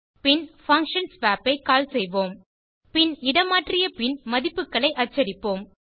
பின் function swap ஐ செய்வோம் பின் இடமாற்றியபின் மதிப்புகளை அச்சடிப்போம்